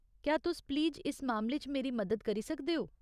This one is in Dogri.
क्या तुस प्लीज इस मामले च मेरी मदद करी सकदे ओ ?